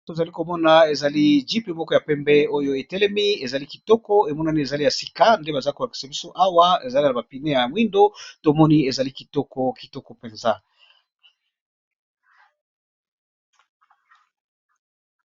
To zali komona ezali jipe moko ya pembe. Jîpe oyo etelemi, ezali kitoko ! Emonani ezali ya sika. Nde baza kolakisa biso awa. Ezali na ba pine ya moindo. To moni ezali kitoko ! Kitoko mpenza !